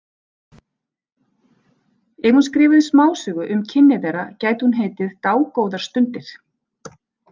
Ef hún skrifaði smásögu um kynni þeirra gæti hún heitið Dágóðar stundir.